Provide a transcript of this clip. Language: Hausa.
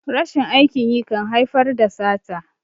rashin aikin yi kan haifar da sata